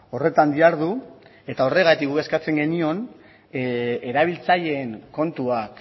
horretan dihardu eta horregatik guk eskatzen genion erabiltzaileen kontuak